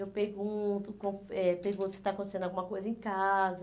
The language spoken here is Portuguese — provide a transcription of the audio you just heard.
Eu pergunto como eh pergunto se está acontecendo alguma coisa em casa.